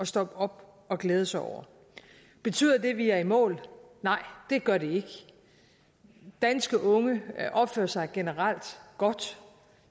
stoppe op og glæde sig over betyder det at vi er i mål nej det gør det ikke danske unge opfører sig generelt godt